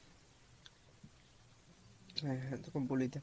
হ্যাঁ হ্যাঁ তোকে বলি দেখ,